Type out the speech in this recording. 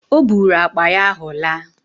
Ọ bụụrụ akpa ahụ laa